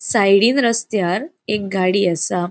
साइडीन रसत्यार एक गाड़ी आसा.